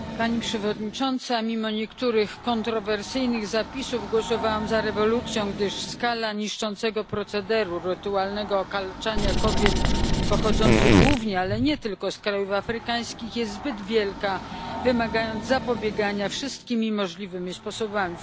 Pani Przewodnicząca! Mimo niektórych kontrowersyjnych zapisów głosowałam za rezolucją, gdyż skala niszczącego procederu rytualnego okaleczania kobiet, pochodzących głównie ale nie tylko z krajów afrykańskich, jest zbyt wielka i wymaga zapobiegania wszystkimi możliwymi sposobami.